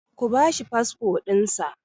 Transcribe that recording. Ku ba shi fasfo ɗinsa!